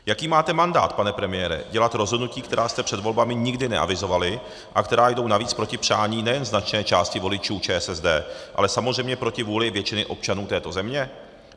Jaký máte mandát, pane premiére, dělat rozhodnutí, která jste před volbami nikdy neavizovali a která jdou navíc proti přání nejen značné části voličů ČSSD, ale samozřejmě proti vůli většiny občanů této země?